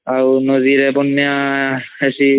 ଆଉ ନଦୀ ରେ ବନ୍ୟା ହେସୀ